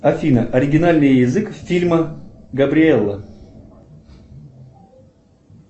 афина оригинальный язык фильма габриэлла